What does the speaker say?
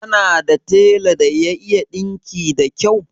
Kana da tela da ya iya ɗinki da kau?